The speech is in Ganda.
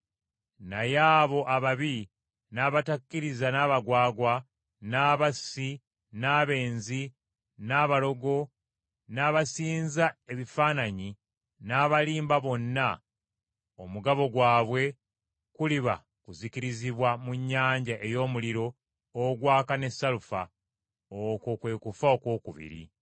Naye abo ababi n’abatakkiriza n’abagwagwa, n’abassi, n’abenzi, n’abalogo n’abasinza ebifaananyi, n’abalimba bonna, omugabo gwabwe kuliba kuzikirizibwa mu nnyanja ey’omuliro ogwaka ne salufa. Okwo kwe kufa okwokubiri.”